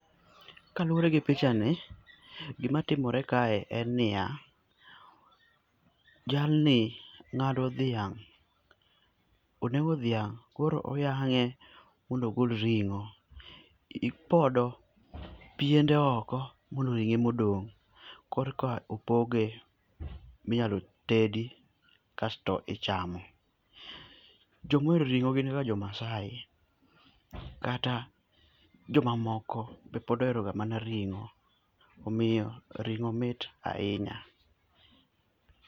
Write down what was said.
Kaluwore gi pichani, gima timore kae en niya, jalni ng'ado dhiang'. Onego dhiang' koro oyang'e mondo ogol ring'o. Ipodo piene oko mondo ring'o ema odong', korka opoge minyalo tedi kasto ichamo. Joma ohero ring'o gin ga jo Maasai, kata joma moko be pod oheroga mana ring'o omiyo ring'o mit ahinya.